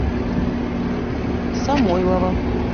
самойлова